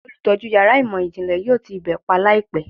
Olutọju yara imọ-jinle yoo ti ibe pa laipẹ